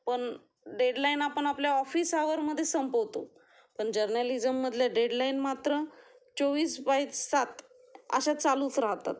पण डेडलाइन आपण आपले ऑफिस आवर मध्ये संपवतो, पण जर्नलिज्म मधल्या डेडलाईन मात्र चोवीस बाय सात अशा चालूच राहतात